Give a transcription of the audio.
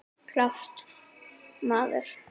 Klárt, maður!